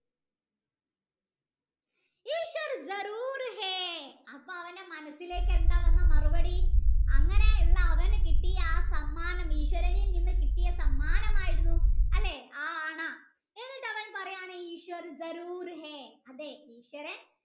അല്ലെ അപ്പൊ അവൻ്റെ മനസ്സിലേക് എന്താണ് വന്ന മറുപടി അങ്ങനെയുള്ള അവൻ കിട്ടിയ ആ സമ്മാനം ഈശ്വരനിൽ നിന്ന് കിട്ടിയ സമ്മാനമായിരുന്നു ആ അണ എന്നിട്ട് അവൻ പാറയാണ് ഈശ്വരൻ